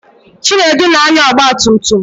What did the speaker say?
Chinedu na-anya ọgbatumtum.